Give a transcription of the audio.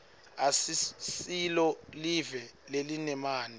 asisilo live lelinemanti